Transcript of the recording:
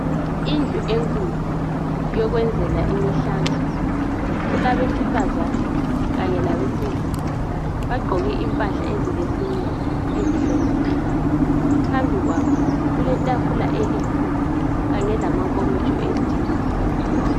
Indlu enkulu yokwenzela imihlangano. Kulabesifazana kanye labesilisa bagqoke impahla ezilesimilo ezihloniphekayo. Phambi kwabo kuletafula elikhulu kanye lamankomitsho etiye.